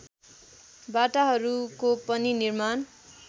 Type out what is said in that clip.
बाटाहरूको पनि निर्माण